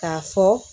K'a fɔ